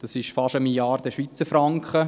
Das ist fast 1 Mrd. Schweizer Franken.